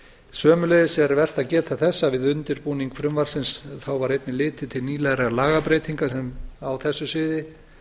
sömuleiðis er vert að geta þess að við undirbúning frumvarpsins var einnig litið nýlegra lagabreytinga á þessu sviði